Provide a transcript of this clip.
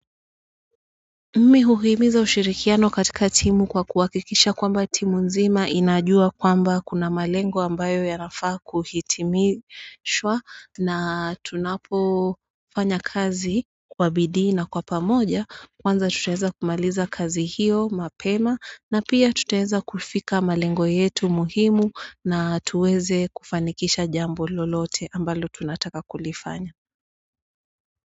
Mi huhimiza ushirikiano katika timu kwa kuhakikisha kwamba timu nzima inajua kwamba kuna malengo ambayo yanafaa kuhitimishwa na tunapo fanya kazi kwa bidii na kwa pamoja kwanza tutaweza kumaliza kazi hiyo mapema na pia tutaeza kufika malengo yetu muhimu na tuweze kufanikisha jambo lolote ambalo tunataka kulifanya.